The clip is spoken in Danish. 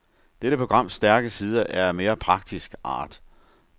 Dette programs stærke side er af mere praktisk art.